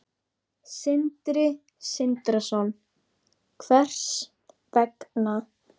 Sindri Sindrason: Hvers vegna?